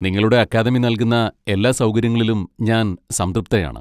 നിങ്ങളുടെ അക്കാദമി നൽകുന്ന എല്ലാ സൗകര്യങ്ങളിലും ഞാൻ സംതൃപ്തയാണ്.